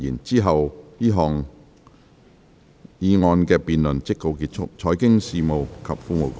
之後這項議案的辯論即告結束。